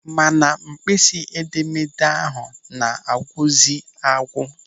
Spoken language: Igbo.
Mana mkpịsị edemede ahụ na-agwụzị agwụ.